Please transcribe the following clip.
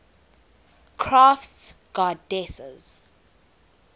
crafts goddesses